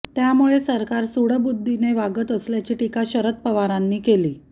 त्यामुळे सरकार सुडबुद्धीने वागत असल्याची टीका शरद पवारांनी केली